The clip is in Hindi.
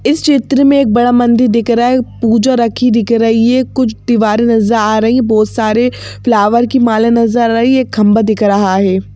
इस क्षेत्र में एक बड़ा मंदिर दिख रहा हैं पूजा रखी दिख रही हैं कुछ दीवारें नजर आ रही हैं बहुत सारे फ्लावर की माले नजर रही है एक खंबा दिख रहा हैं।